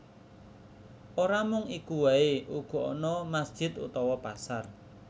Ora mung iku waé uga ana masjid utawa pasar